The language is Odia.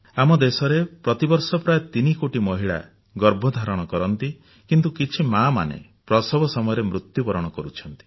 ଆମ ଦେଶରେ ପ୍ରତିବର୍ଷ ପ୍ରାୟ 3 କୋଟି ମହିଳା ଗର୍ଭଧାରଣ କରନ୍ତି କିନ୍ତୁ କିଛି ମାଆମାନେ ପ୍ରସବ ସମୟରେ ମୃତ୍ୟୁବରଣ କରୁଛନ୍ତି